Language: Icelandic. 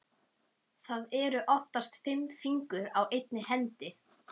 Það eru oftast fimm fingur á einni hendi.